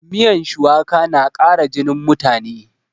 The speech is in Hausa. Miyan shuwaka na ƙara jinin mutane